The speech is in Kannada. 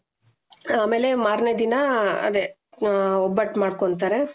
ಆಮೇಲೆ ಮಾರನೇ ದಿನ ಅದೇ ಒಬ್ಬಟ್ಟು ಮಾಡ್ಕೊಂತಾರೆ